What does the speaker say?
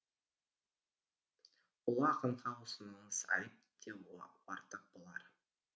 ұлы ақынға осыныңыз айып деу артық болар